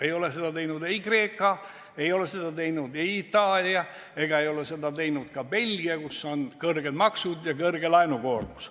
Ei ole seda teinud Kreeka, ei ole seda teinud Itaalia ega ole seda teinud ka Belgia, kus on kõrged maksud ja kõrge laenukoormus.